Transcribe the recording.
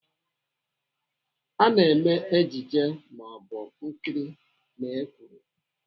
Ana eme ejije maọbụ nkiri na èkwùrù.